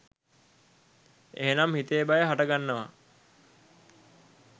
එහෙනම් හිතේ බය හටගන්නවා